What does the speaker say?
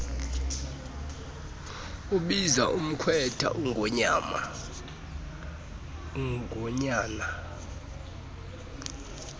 ebiza umkhwetha ongunyana